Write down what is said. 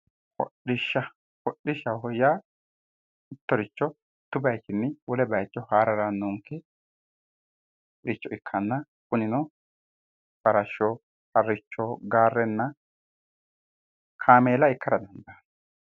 Hodhishsha hodhishshaho yaa mittiricho mittu bayiichinni wolewa haare harannonkericho ikkanna kunino farashsho harricho gaarenna kameela ikkara dandaanno